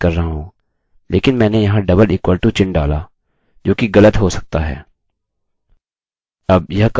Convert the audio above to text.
मैं यहाँ कोई तुलना नहीं कर रहा हूँ लेकिन मैंने यहाँ डबल इक्वल टू चिन्ह डाला जो कि गलत हो सकता है